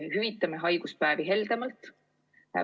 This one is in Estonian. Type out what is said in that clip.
Hüvitame haiguspäevi heldemalt!